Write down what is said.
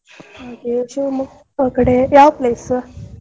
ಹಾಗೆ Shivamogga ಕಡೆ ಯಾವ್ place .